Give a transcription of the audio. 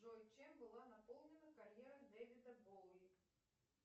джой чем была наполнена карьера дэвида боуи